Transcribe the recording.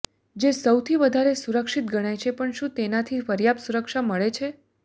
જે સૌથી વધારે સુરક્ષિત ગણાય છે પણ શું તેનાથી પર્યાપત સુરક્ષા મળે છે